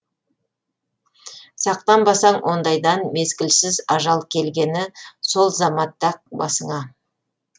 сақтанбасаң ондайдан мезгілсіз ажал келгені сол заматта ақ басыңа